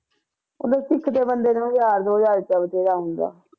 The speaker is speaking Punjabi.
ਉਹ ਇਕ ਤੇ ਬੰਦੇ ਨੂੰ ਹਜ਼ਾਰ ਦੋ ਹਜ਼ਾਰ ਆਉਂਦਾ